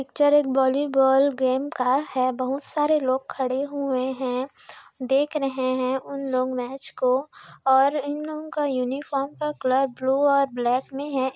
Picture एक volleyball game है बहुत सारे लोग खड़े हुए है देख रहे है उन लोग मैच को और इन लोग का यूनिफार्म का कलर ब्लू और ब्लैक में है।